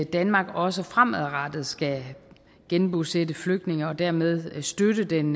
danmark også fremadrettet skal genbosætte flygtninge og dermed støtte den